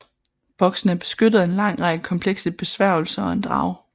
Boksene er beskyttet af en lang række komplekse besværgelser og en drage